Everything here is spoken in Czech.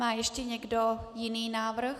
Má ještě někdo jiný návrh?